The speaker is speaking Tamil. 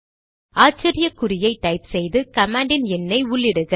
ஆச்சரிய குறியை டைப் செய்து கமாண்டின் எண்ணை உள்ளிடுக